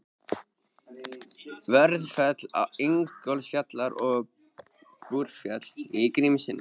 Vörðufell, Ingólfsfjall og Búrfell í Grímsnesi.